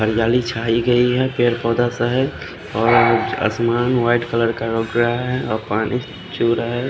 और जाली छाई गई है पेड़ पोधा सा है और आसमान वाइट कलर का लग रहा है और पानी छु रहा है।